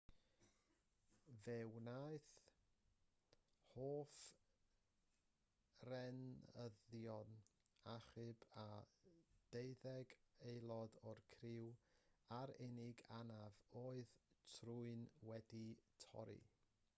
fe wnaeth hofrenyddion achub y deuddeg aelod o'r criw a'r unig anaf oedd trwyn wedi torri